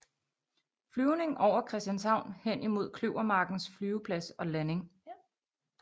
Flyvning over Christianshavn hen imod Kløvermarkens flyveplads og landing